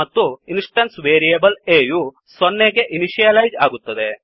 ಮತ್ತು instance variable a ಯು 0 ಸೊನ್ನೆ ಗೆ ಇನಿಶಿಯಲೈಜ್ ಆಗುತ್ತದೆ